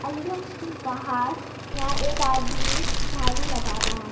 के बाहर या एक आदमी झाड़ू लगा रहा है।